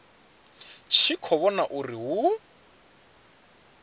tshi khou vhona uri hu